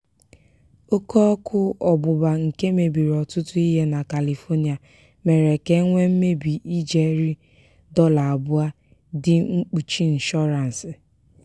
oke ọkụ ọgbụgba nke mebiri ọtụtụ ihe na kalifonịa mere ka e nwee mmebi ijeri dọla abụọ dị mkpuchi nshọransị.